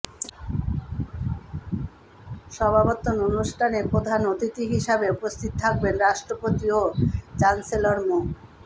সমাবর্তন অনুষ্ঠানে প্রধান অতিথি হিসেবে উপস্থিত থাকবেন রাষ্ট্রপতি ও চ্যান্সেলর মো